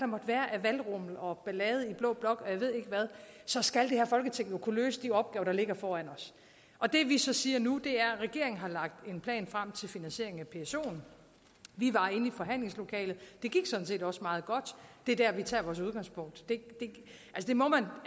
måtte være af valgrummel og ballade og i blå blok så skal det her folketing jo kunne løse de opgaver der ligger foran os og det vi så siger nu er at regeringen har lagt en plan frem til finansiering af psoen vi var inde i forhandlingslokalet det gik sådan set også meget godt det er der vi tager vores udgangspunkt